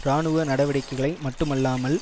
இராணுவ நடவடிக்கைகளை மட்டுமல்லாமல்